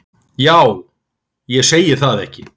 Ja ég segi það ekki.